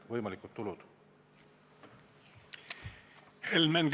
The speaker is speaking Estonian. Helmen Kütt, palun!